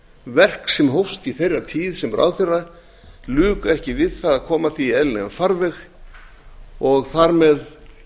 verk sem hófst í þeirra tíð sem ráðherra luku ekki við að koma því í eðlilegan farveg og þar með